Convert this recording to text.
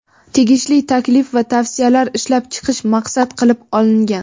tegishli taklif va tavsiyalar ishlab chiqish maqsad qilib olingan.